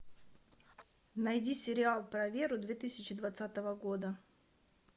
найди сериал про веру две тысячи двадцатого года